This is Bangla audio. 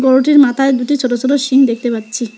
গরুটির মাথায় দুটি ছোট ছোট সিং দেখতে পাচ্ছি।